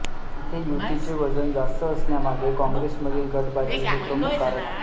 इथे युतीचे वजन जास्त असण्यामागे काँग्रेसमधील गटबाजी हे प्रमुख कारण आहे